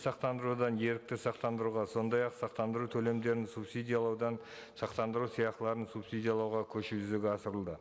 сақтандырудан ерікті сақтандыруға сондай ақ сақтандыру төлемдерін субсидиялаудан сақтандыру сыйақыларын субсидиялауға көшу жүзеге асырылды